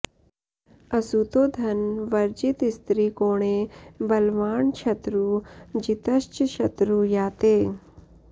असुतो धन वर्जितस्त्रिकोणे बलवाञ् छत्रु जितश्च शत्रु याते